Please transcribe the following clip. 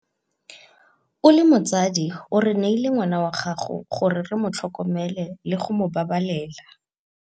O le motsadi o re neile ngwana wa gago gore re mo tlhokomele le go mo babalena.